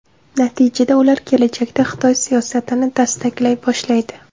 Natijada ular kelajakda Xitoy siyosatini dastaklay boshlaydi.